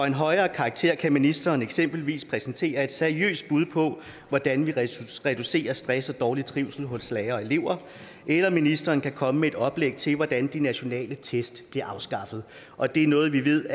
en højere karakter kan ministeren eksempelvis præsentere et seriøst bud på hvordan vi reducerer stress og dårlig trivsel hos lærere og elever eller ministeren kan komme med et oplæg til hvordan de nationale test bliver afskaffet og det er noget vi ved